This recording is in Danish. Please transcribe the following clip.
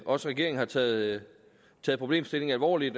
også regeringen har taget problemstillingen alvorligt